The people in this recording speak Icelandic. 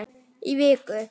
Í viku.